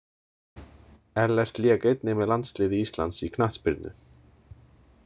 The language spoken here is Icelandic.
Ellert lék einnig með landsliði Íslands í knattspyrnu.